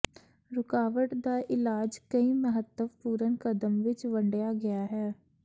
ਰੁਕਾਵਟ ਦਾ ਇਲਾਜ ਕਈ ਮਹੱਤਵਪੂਰਨ ਕਦਮ ਵਿੱਚ ਵੰਡਿਆ ਗਿਆ ਹੈ